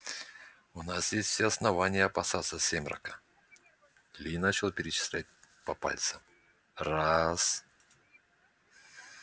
у нас есть все основания опасаться сермака ли начал перечислять по пальцам раз